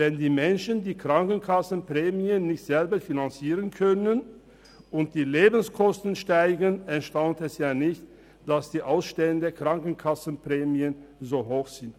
Wenn die Menschen die Krankenkassenprämien nicht selber finanzieren können und die Lebenskosten steigen, erstaunt es nicht, dass die Ausstände der Krankenkassenprämien so hoch sind.